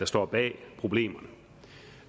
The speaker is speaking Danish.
står bag problemerne